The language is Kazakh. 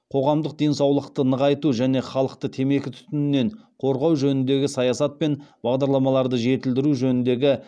қоғамдық денсаулықты нығайту және халықты темекі түтінінен қорғау жөніндегі саясат пен бағдарламаларды жетілдіру жөніндегі